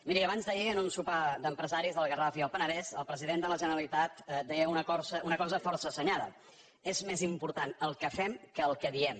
miri abans d’ahir en un sopar d’empresaris del garraf i el penedès el president de la generalitat deia una cosa força assenyada és més important el que fem que el que diem